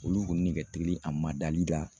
Olu kun ne ka teli a ma dali la